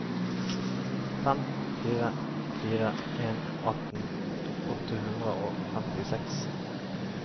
fem fire fire en atten åtte hundre og femtiseks